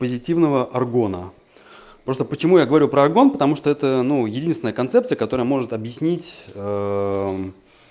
позитивного аргона просто почему я говорю про аргон потому что это ну единственная концепция которая может объяснить